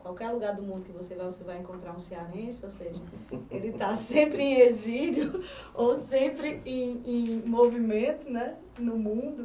Qualquer lugar do mundo que você vá, você vai encontrar um cearense, ou seja de estar sempre em exílio ou sempre em movimento no mundo.